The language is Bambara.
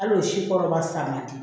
Al'o si kɔrɔba san man di